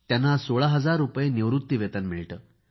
त्यांना सोळा हजार रूपये निवृत्ती वेतन मिळते